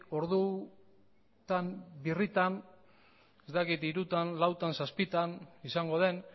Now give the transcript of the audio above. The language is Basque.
ordutan birritan ez dakit hirutan lautan zazpitan izango den